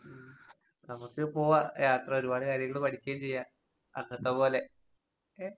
ഉം. നമുക്ക് പോവാം യാത്ര. ഒരുപാട് കാര്യങ്ങള് പഠിക്കേം ചെയ്യാം അന്നത്ത പോലെ. ഓക്കെ.